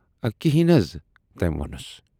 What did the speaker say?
حض کِنہی نہٕ؟ "تمٔۍ وونُس۔